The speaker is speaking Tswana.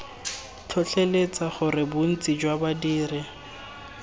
tlhotlheletsa gore bontsi jwa badiri